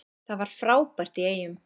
Það var frábært í Eyjum.